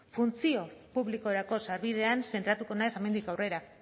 funtsio publikorako sarbidean zentratuko naiz hemendik aurrera